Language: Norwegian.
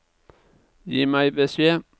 Gi meg beskjed